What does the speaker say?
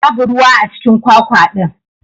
Babu ruwa acikin kwakwa din.